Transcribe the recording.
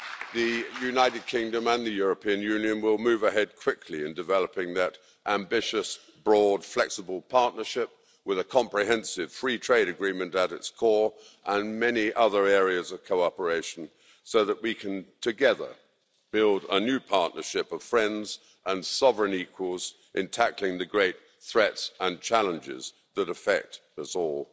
The United Kingdom and the European Union will move ahead quickly in developing that ambitious, broad, flexible partnership, with a comprehensive free trade agreement at its core and many other areas of cooperation, so that we can together build a new partnership of friends and sovereign equals in tackling the great threats and challenges that affect us all.